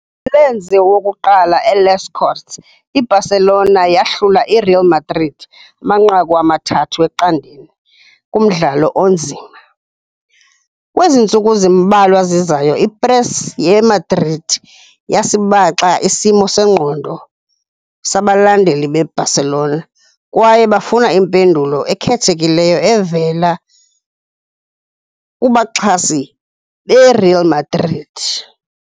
Ngomlenze wokuqala e- Les Corts, i-Barcelona yahlula i-Real Madrid amanqaku 3-0, kumdlalo onzima. Kwezi ntsuku zimbalwa zizayo, i-press ye-Madrid yasibaxa isimo sengqondo sabalandeli be-Barcelona, kwaye bafuna impendulo ekhethekileyo evela kubaxhasi beReal Madrid.